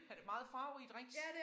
Ja det meget farverige drinks